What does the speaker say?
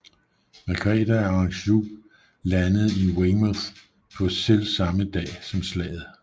Margrete af Anjou landede i Weymouth på selv samme dag som slaget